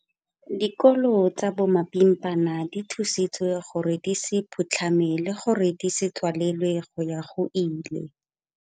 Dikolo tsa bomapimpana di thusitswe gore di se phutlhame le gore di se tswalelwe go ya go ile.